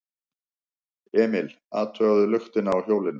Emil athugaði luktina á hjólinu.